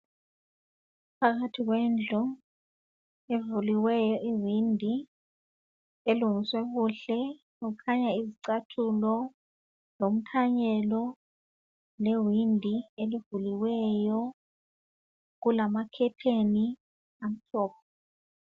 Phakathi kwendlu evuliweyo iwindi elungiswe kuhle kukhanya izicathulo lomthanyelo lewindi elivuliweyo. Kulama curtain amhlophe.